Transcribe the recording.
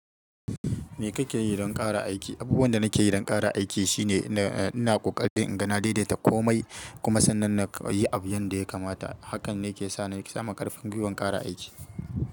Me kake yi don ƙara aiki? Abubuwan da nake yi don ƙara aiki shine, eh, ina ƙoƙari in ga na daidaita komai kuma sannan na yi abu yanda ya kamata. Hakan ne ke sa nake samun ƙarfin gwuiwan ƙara aiki.